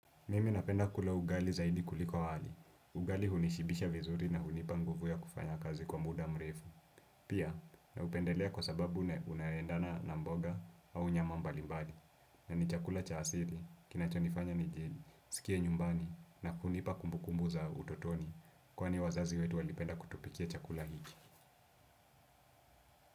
Mimi napenda kula ugali zaidi kuliko wali. Ugali hunishibisha vizuri na hunipa nguvu ya kufanya kazi kwa muda mrefu. Pia, naupendelea kwa sababu unaendana na mboga au nyama mbali mbali. Na ni chakula cha asili, kinachonifanya nijiskie, nyumbani na kunipa kumbu kumbu za utotoni. Kwani wazazi wetu walipenda kutupikia chakula hiki.